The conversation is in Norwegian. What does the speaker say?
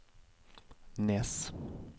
Nes